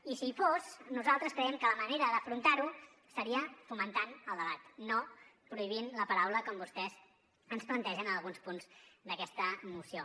i si hi fos nosaltres creiem que la manera d’afrontar ho seria fomentant el debat no prohibint la paraula com vostès ens plantegen en alguns punts d’aquesta moció